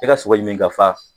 I ka sogo ɲimi ka fa!